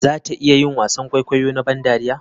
Za ta iya yin wasan kwaikwayo na ban dariya?